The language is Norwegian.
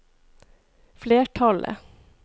flertallet